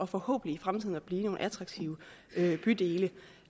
forhåbentlig i fremtiden at blive nogle attraktive bydele